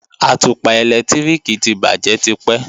Àtùpà ẹ̀lẹ́tíríkì ti bàjé tipẹ́